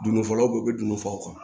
Dundɔ fɔlaw u bɛ n'u faw kan